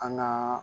An ŋaa